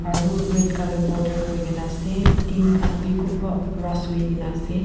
aru red colour border kori kina ase tin khan bhi kunba ras hoi kina ase.